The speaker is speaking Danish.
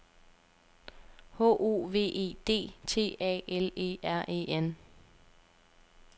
H O V E D T A L E R E N